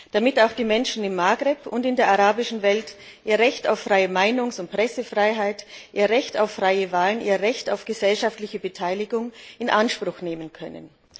Damit auch die Menschen im Maghreb und in der arabischen Welt ihr Recht auf freie Meinungsäußerung und Pressefreiheit, ihr Recht auf freie Wahlen und ihr Recht auf gesellschaftliche Beteiligung in Anspruch nehmen können.